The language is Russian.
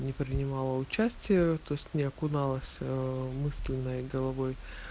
не принимала участие то есть не окуналась мысленно и головой